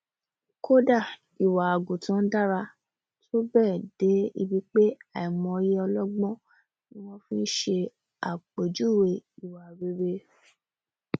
kódà ìwà àgùntàn dára tó bẹẹ dé ibi pé àìmọyé ọlọgbọn ni wọn fi ṣe àpèjúwèé ìwà rere